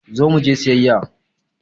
Zo muje siyayya!